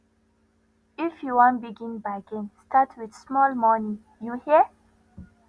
if you wan begin bargain start wit small moni you hear